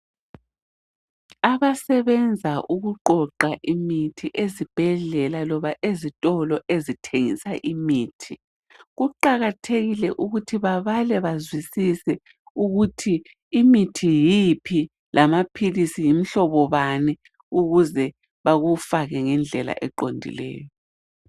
Abasebenza ukuqoqa imithi ezibhedlela loba ezitolo ezithengisa imithi, kuqakathekile ukuthi babale bazwisise ukuthi imithi yiphi lamaphilisi yimihlobo bani ukuze bakufake ngendlela eqondileyo